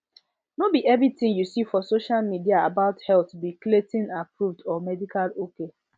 no be everything you see for social media about health be claytonapproved or medical ok